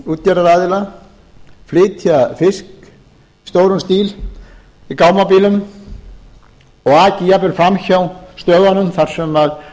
útgerðaraðila flytja fisk í stórum stíl í gámabílum og að jafnvel fram hjá stöðunum þar sem